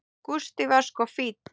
Gústi var sko fínn.